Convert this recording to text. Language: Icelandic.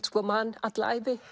man alla ævi